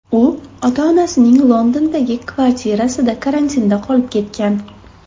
U ota-onasining Londondagi kvartirasida karantinda qolib ketgan.